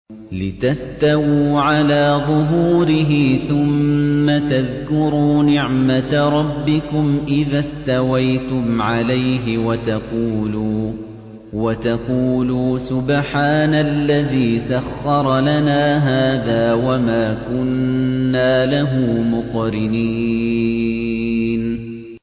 لِتَسْتَوُوا عَلَىٰ ظُهُورِهِ ثُمَّ تَذْكُرُوا نِعْمَةَ رَبِّكُمْ إِذَا اسْتَوَيْتُمْ عَلَيْهِ وَتَقُولُوا سُبْحَانَ الَّذِي سَخَّرَ لَنَا هَٰذَا وَمَا كُنَّا لَهُ مُقْرِنِينَ